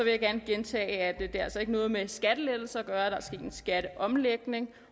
jeg gerne gentage at det altså ikke har noget med skattelettelser at gøre at der er sket en skatteomlægning